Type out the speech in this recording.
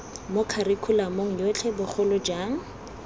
mo kharikhulamong yotlhe bogolo jang